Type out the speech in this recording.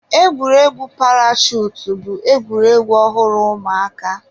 Egwuregwu parashutu bụ egwuregwu ọhụrụ ụmụaka.